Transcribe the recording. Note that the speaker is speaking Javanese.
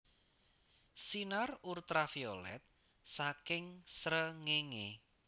Sinar Ultraviolet saking srengéngé